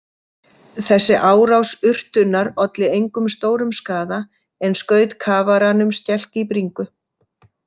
Þessi árás urtunnar olli engum stórum skaða en skaut kafaranum skelk í bringu.